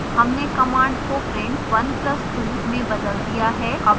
हमने कमांड को print 1 plus 2 में बदल दिया है अब एंटर दबाएं